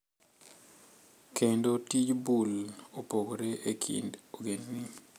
Kendo tij bul opogore e kind ogendni.